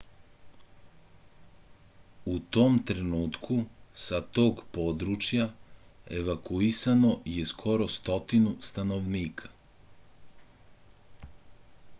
u tom trenutku sa tog područja evakuisano je skoro stotinu stanovnika